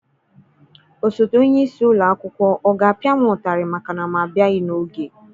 Osote onye isi ụlọ akwụkwọ ọ ga-apịa m ụtarị maka na m abịaghị n'oge?